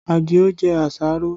Adio jẹ àṣàrò